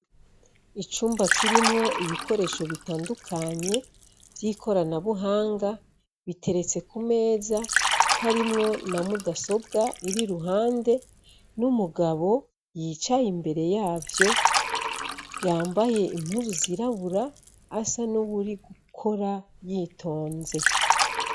Icumba kirimwo ibikoresho bitandukanye vy'ikoranabuhanga, biteretse ku meza, harimwo na mudasobwa iri iruhande, n'umugabo yicaye imbere yavyo, yambaye impuzu zirabura, asa n'uwuri gukora yitonze.